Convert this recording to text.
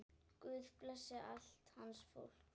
Guð blessi allt hans fólk.